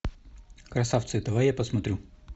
красавцы давай я посмотрю